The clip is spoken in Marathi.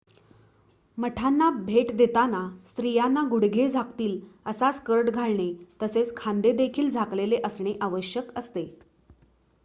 मठांना भेट देताना स्त्रियांना गुडघे झाकतील असा स्कर्ट घालणे तसेच खांदे देखील झाकलेले असणे आवश्यक असते